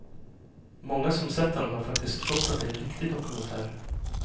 Många som sett den har faktiskt trott att det är en riktig dokumentär.